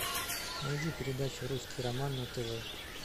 найди передачу русский роман на тв